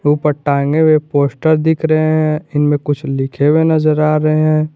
ऊपर टांगे हुए पोस्टर दिख रहे हैं इनमें कुछ लिखे हुए नजर आ रहे हैं।